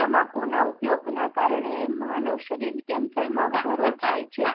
તમાકુ ના ઉપયોગ ના કારણે માનવ શરીર cancer માં વધારો થાય છે.